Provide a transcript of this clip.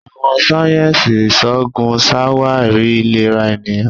Àwọn sáyẹnsì iṣoogun ṣawari ilera eniyan.